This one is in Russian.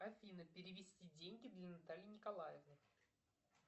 афина перевести деньги для натальи николаевны